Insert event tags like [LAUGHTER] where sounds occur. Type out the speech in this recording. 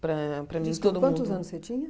Para para mim todo mundo [UNINTELLIGIBLE] quantos anos você tinha?